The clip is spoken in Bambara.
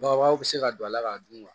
Babaw bɛ se ka don a la k'a dun